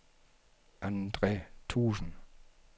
Andre Thuesen